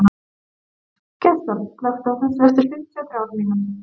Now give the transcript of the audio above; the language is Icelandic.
Gestar, slökktu á þessu eftir fimmtíu og þrjár mínútur.